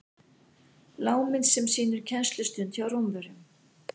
lágmynd sem sýnir kennslustund hjá rómverjum